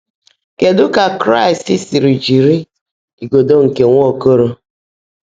Kedu ka Kraist siri jiri " igodo nke Nwaokolo"?